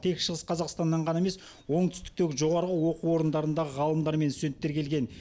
тек шығыс қазақстаннан ғана емес оңтүстіктегі жоғарғы оқу орындарындағы ғалымдар мен студенттер келген